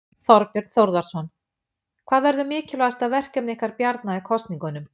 Þorbjörn Þórðarson: Hvað verður mikilvægasta verkefni ykkar Bjarna í kosningunum?